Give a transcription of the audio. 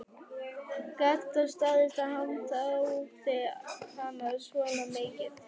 Gat það staðist að hann þráði hana svona mikið?